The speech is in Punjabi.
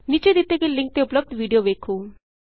ਨੀਚੇ ਦਿਤੇ ਗਏ ਲਿੰਕ ਤੇ ਉਪਲੱਭਦ ਵੀਡੀਉ ਵੇਖੋ